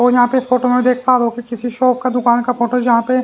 और यहां पे इस फोटो में देख पा रहे हो कि किसी शॉप का दुकान का फोटो जहां पे--